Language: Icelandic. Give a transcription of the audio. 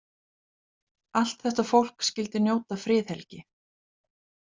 Allt þetta fólk skyldi njóta friðhelgi.